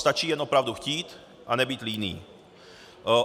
Stačí jen opravdu chtít a nebýt líný.